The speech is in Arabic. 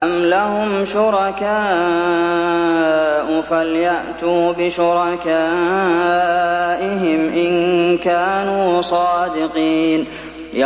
أَمْ لَهُمْ شُرَكَاءُ فَلْيَأْتُوا بِشُرَكَائِهِمْ إِن كَانُوا صَادِقِينَ